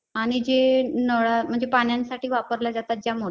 आणि जे नळा म्हणजे पाण्यांसाठी वापरल्या जातात ज्या